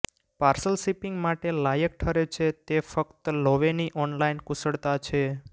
parcel shipping માટે લાયક ઠરે છે તે ફક્ત લોવેની ઓનલાઇન કુશળતા છે